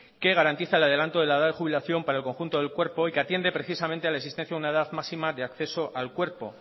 que garantiza el adelanto de la edad de jubilación para el conjunto del cuerpo y que atiende precisamente a la existencia de una edad máxima de acceso al cuerpo